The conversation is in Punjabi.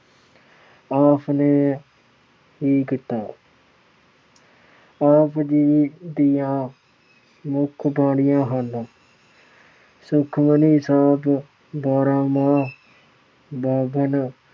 ਆਪ ਨੇ ਹੀ ਕੀਤਾ। ਆਪ ਜੀ ਦੀਆਂ ਮੁੱਖ ਬਾਣੀਆਂ ਹਨ ਸੁਖਮਨੀ ਸਾਹਿਬ, ਬਾਰਹਮਾਂਹ, ਬਾਵਨ